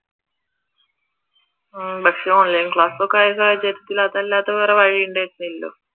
ഉം പക്ഷെ online class ഒക്കെ ആയ സാഹചര്യത്തിൽ അതല്ലാതെ വേറെ വഴി ഉണ്ടായിരുന്നില്ലലോ